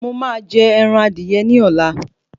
Mo máa jẹ ẹran adìyẹ ní ọ̀la